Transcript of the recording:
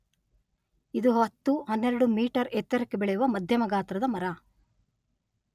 ಇದು ಹತ್ತು, ಹನ್ನೆರಡು ಮೀಟರ್ ಎತ್ತರಕ್ಕೆ ಬೆಳೆಯುವ ಮಧ್ಯಮ ಗಾತ್ರದ ಮರ.